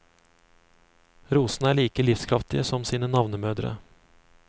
Rosene er like livskraftige som sine navnemødre.